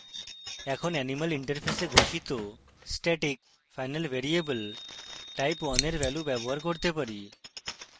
এখন animal interface ঘোষিত static final variable type1 এর value ব্যবহার করতে পারি